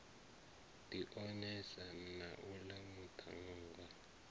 ḓi onesana na uḽa muṱhannga